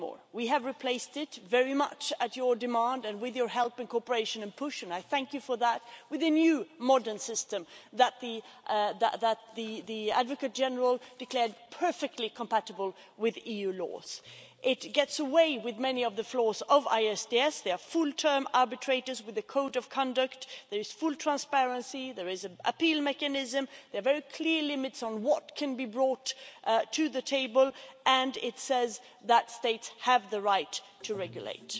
We have replaced it very much at your demand and with your help, cooperation and push, and I thank you for that with a new modern system that the Advocate General declared perfectly compatible with EU laws. It does away with many of the flaws of ISDS. There are full-term arbitrators with a code of conduct, there is full transparency, there is an appeal mechanism, there are very clear limits on what can be brought to the table, and it says that states have the right to regulate.